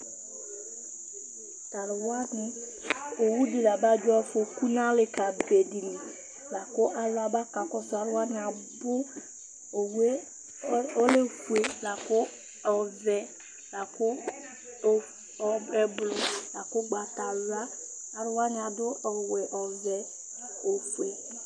Tu aluwani: owu ɖi la ba dzɔ afoku nu alikã ɖi li Laku ãlu ábá ka kɔsu Aluwani abu Owu yɛ ɔlɛ ofue, laku, ɔʋɛ laku o, ɛ gbãnto yɛ alɔ Ãlu waní aɖu awu ɔwɛ, ɔwɛ, ofue